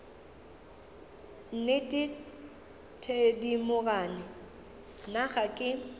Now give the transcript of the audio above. nnete thedimogane nna ga ke